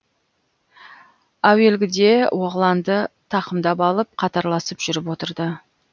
әуелгіде оғланды тақымдап алып қатарласып жүріп отырды